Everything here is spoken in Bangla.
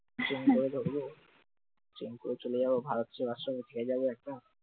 ট্রেনটা ধরব, ট্রেনে করে চলে যাব ভারত সেবা আশ্রমে, থেকে যাব একা